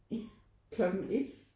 Klokken 1